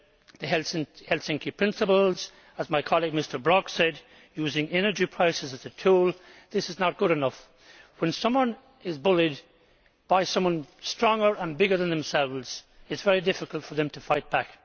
the Helsinki principles, as my colleague Mr Brok said, using energy prices as a tool. This is not good enough. When someone is bullied by someone stronger and bigger than themselves, it is very difficult for them to fight